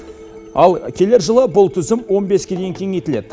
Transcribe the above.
ал келер жылы бұл тізім он беске дейін кеңейтіледі